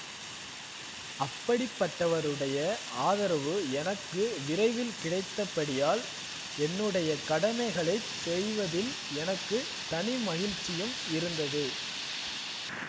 அப்படிப்பட்டவருடைய ஆதரவு எனக்கு விரைவில் கிடைத்தபடியால் என்னுடைய கடமைகளை செய்வதில் எனக்கு தனி மகிழ்ச்சியும் இருந்தது